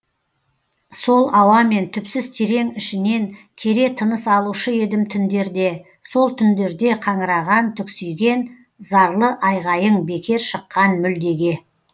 сол ауамен түпсіз терең ішінен кере тыныс алушы едім түндерде сол түндерде қаңыраған түксиген зарлы айғайың бекер шыққан мүлдеге